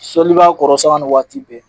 Sɔli b'a kɔrɔ sanga ni waati bɛɛ.